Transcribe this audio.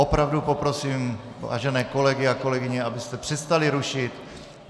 Opravdu poprosím vážené kolegy a kolegyně, abyste přestali rušit.